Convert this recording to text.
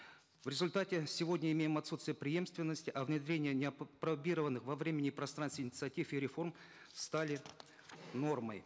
в результате сегодня имеем отсутствие преемственности а внедрение неопробированных во времени и пространстве инициатив и реформ стали нормой